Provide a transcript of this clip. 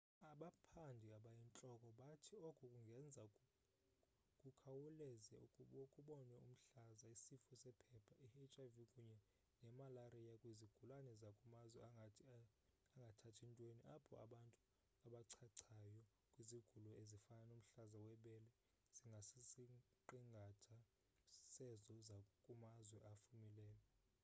abaphandi abayintloko bathi oku kungenza kukhawuleze kubonwe umhlaza isifo sephepha i-hiv kunye nemalariya kwizigulana zakumazwe angathathi ntweni apho abantu abachachayo kwizigulo ezifana nomhlaza webele zingasisiqingatha sezo zakumazwe afumileyo